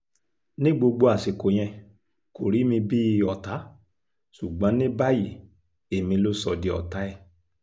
mo ní gbogbo agbára láti ṣiṣẹ́ ta kò ó